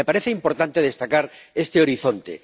Me parece importante destacar este horizonte.